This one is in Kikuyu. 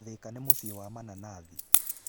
Thika nĩ mũciĩ wa mananathi.